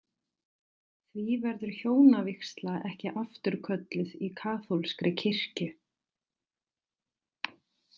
Því verður hjónavígsla ekki afturkölluð í kaþólskri kirkju.